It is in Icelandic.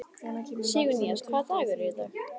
Sigurnýjas, hvaða dagur er í dag?